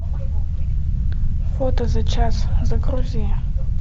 фото за час загрузи